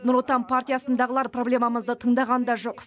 нұр отан партиясындағылар проблемамызды тыңдаған да жоқ